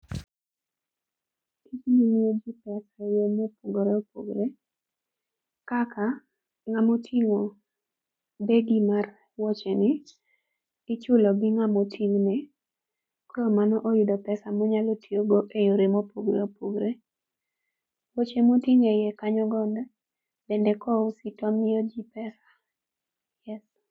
Tijni miyo ji pesa e yore mopogre opogre kaka ng'ama oting'o begi mar wuocheni ichulo gi ng'ama oting'ne kamano oyudo pesa monyalo tiyogo e yore mopogre opogre. Wuoche moting' e iye kanyo go endo bende kousgi to miyo ji pesa.